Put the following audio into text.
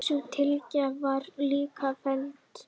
Sú tillaga var líka felld.